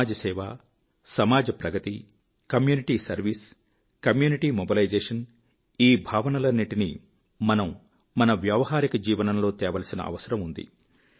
సమాజసేవ సమాజ ప్రగతి community service community mobilisation ఈ భావనలన్నిటినీ మనం మన వ్యావహారిక జీవనంలో తేవలసిన అవసరం ఉంది